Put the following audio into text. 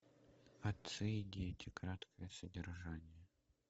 отцы и дети краткое содержание